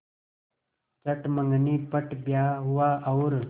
चट मँगनी पट ब्याह हुआ और